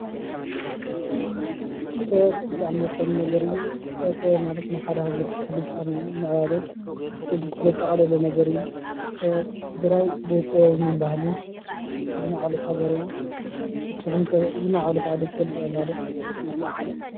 ጥበብ ብጣዕሚ ወሳኒ ነገር እዩ ።ጥበብ ማለት ናይ ሓንቲ ሃገር ስልጣነን ምዕባለን ዘጠቃለለ ነገር እዩ። ትግራይ ብጥበብን ባህልን ዝማዕበለት ሃገር እያ። ንስኹም ከ ዝማዕበለት ዓዲ ትፈልጡዋ ኣላ ዶ?